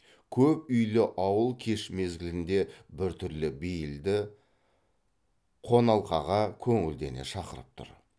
көп үйлі ауыл кеш мезгілінде біртүрлі бейілді қоналқаға көңілдене шақырып тұр